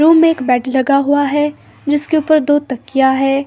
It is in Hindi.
रूम में एक बेड बेड लगा हुआ है जिसके ऊपर दो तकियां है।